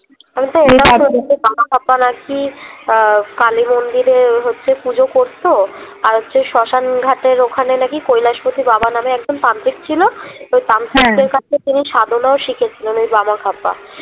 আমিতো বামাক্ষ্যাপা না কি আহ কালিমন্দিরে ওই হচ্ছে পুজো করতো আর হচ্ছে শ্মশানঘাটের ওখানে না কি কৈলাস পতি বাবা নাম একজন তান্ত্রিক ছিল এই কাছে তিনি সাধনাও শিখেছিলেন ওই বামাক্ষ্যাপা